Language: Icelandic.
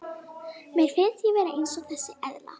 Mér finnst ég vera eins og þessi eðla.